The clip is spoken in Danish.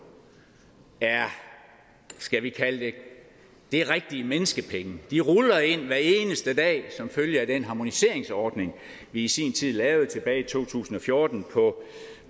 er skal vi kalde det rigtige menneskepenge de ruller ind hver eneste dag som følge af den harmoniseringsordning vi i sin tid lavede tilbage i to tusind og fjorten